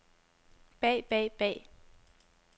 bag bag bag